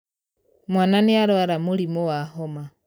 Mwana nĩarwara mũrimũ wa homa.